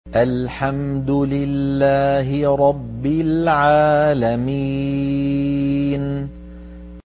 الْحَمْدُ لِلَّهِ رَبِّ الْعَالَمِينَ